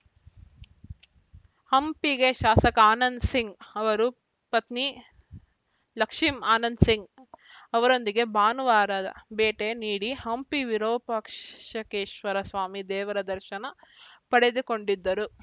ಹಂಪಿಗೆ ಶಾಸಕ ಆನಂದ್‌ ಸಿಂಗ್‌ ಅವರು ಪತ್ನಿ ಲಕ್ಷ್ಮಿ ಆನಂದ್‌ ಸಿಂಗ್‌ ಅವರೊಂದಿಗೆ ಭಾನುವಾರ ಭೇಟಿ ನೀಡಿ ಹಂಪಿ ವಿರೂಪಾಕ್ಷಕೇಶ್ವರ ಸ್ವಾಮಿ ದೇವರ ದರ್ಶನ ಪಡೆದುಕೊಂಡರು